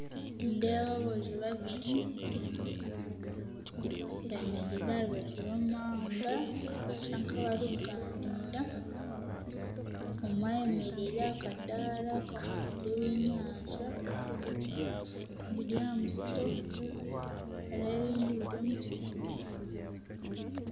Nindeeba aboojo babiri bemereire aha rubaju rw'omuhanda nibashusha nkabarikuganira omwe ayemereire ahakadara kokutunda eby'enyanja biri aha musito n'ebindi biri omu kitemere.